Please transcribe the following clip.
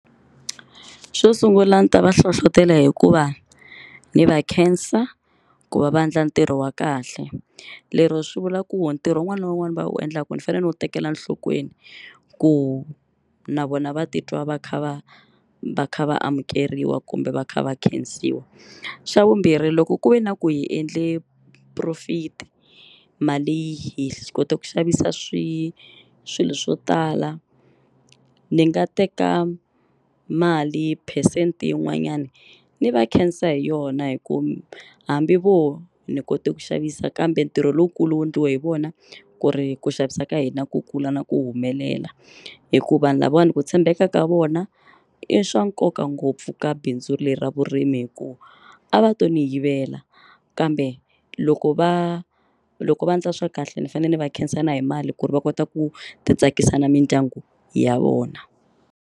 Xo sungula ni ta va hlohlotela hikuva ndzi va khensa ku va va endla ntirho wa kahle lero swi vula ku ntirho wun'wana na wun'wana va u endla ku ni fanele ni u tekela nhlokweni ku na vona va titwa va kha va va kha va amukeriwa kumbe va kha va khensiwa, xavumbirhi loko ku ve na ku hi endle profit mali hi kota ku xavisa swi swilo swo tala ni nga teka mali percent yin'wanyani ni va khensa hi yona hi ku hambi vo ni kote ku xavisa kambe ntirho lowukulu wu endliwe hi vona ku ri ku xavisa ka hina ku kula na ku humelela, hikuva lavawani ku tshembeka ka vona i swa nkoka ngopfu ka bindzu leri ra vurimi hi ku a va to ni yivela kambe loko va loko va endla swa kahle ni fanele ni va khensani hi mali ku ri va kota ku ti tsakisa na mindyangu ya vona.